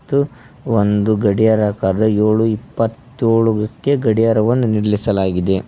ಮತ್ತು ಒಂದು ಗಡಿಯಾರ ಕಾರದ ಏಳು ಇಪ್ಪತ್ತೊಳು ಕ್ಕೆ ಗಡಿಯಾರವನ್ನು ನಿಲ್ಲಿಸಲಾಗಿದೆ.